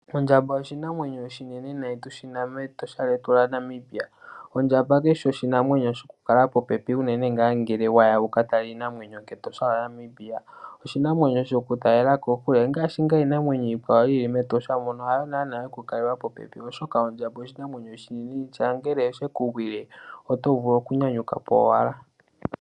Ondjamba oshinamwenyo oshinene nayi tushi na mEtosha lyetu lyaNamibia. Ondjamba kayishi oshinamwenyo shoku kala popepi unene ngaa ngele waya wuka tale iinamwenyo ketosha lyaNamibia. Oshinamwenyo shoku talela kokule, ongaashi ngaa iinamwenyo yili mEtosha mono hayo ngaa yoku kaliwa popepi oshoka ondjamba oshinamwenyo oshinene, nongele osheku gwile oto vulu oku nyanyuka po owala.